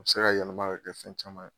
A bi se ka yɛlɛma ka kɛ fɛn caman ye